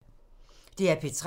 DR P3